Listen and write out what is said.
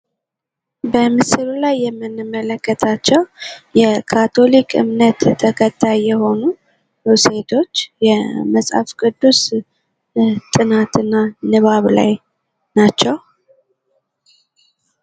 በምስሉ ላይ የምንመለከታቸው የካቶሊክ እምነት ተከታይ ሴቶች የመፅሐፍ-ቅዱስ ጥናትና ንባብ ላይ ናቸው ።